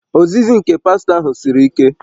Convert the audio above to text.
Ozizi nke pastọ ahụ siri ike